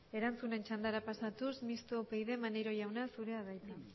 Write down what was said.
erantzunen txandara pasatuz misto upyd maneiro jauna zurea da